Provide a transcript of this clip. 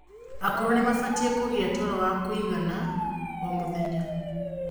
akũrũ nimabatie kugia toro w akuigana o mũthenya